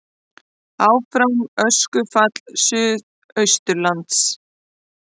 Áfram öskufall suðaustanlands